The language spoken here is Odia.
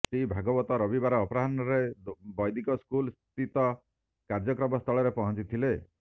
ଶ୍ରୀ ଭାଗବତ ରବିବାର ଅପରାହ୍ଣରେ ବ୘ଦିକ ସ୍କୁଲସ୍ଥିତ କାର୍ଯ୍ୟକ୍ରମ ସ୍ଥଳରେ ପହଞ୍ଚିଥିଲେ